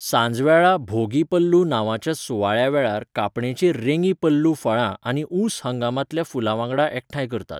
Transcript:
सांजवेळा भोगी पल्लू नांवाच्या सुवाळ्या वेळार कापणेचीं रेगी पल्लू फळां आनी ऊंस हंगामांतल्या फुलां वांगडा एकठांय करतात.